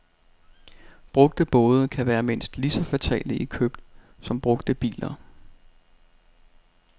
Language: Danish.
Brugte både kan være mindst lige så fatale i køb som brugte biler.